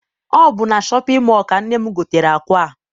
Ọ bụ na shọpịn mọọ ka nne m gotere akwa a.